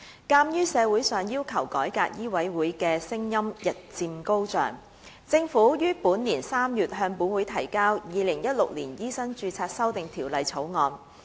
鑒於社會上要求改革醫委會的聲音日漸高漲，政府於本年3月向本會提交《2016年醫生註冊條例草案》。